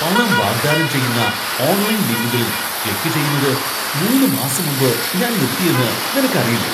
പണം വാഗ്ദാനം ചെയ്യുന്ന ഓൺലൈൻ ലിങ്കുകളിൽ ക്ലിക്ക് ചെയ്യുന്നത് മൂന്ന് മാസം മുമ്പ് ഞാൻ നിർത്തിയെന്ന് നിനക്കറിയില്ലേ?